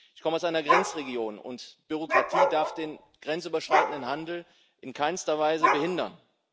Ich komme aus einer Grenzregion, und Bürokratie darf den grenzüberschreitenden Handel in keinster Weise behindern.